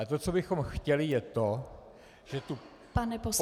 A to, co bychom chtěli, je to, že tu poměrnou část -